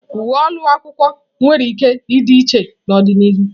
Uwe ụlọ akwụkwọ nwere ike ịdị iche n'ọdịnihu.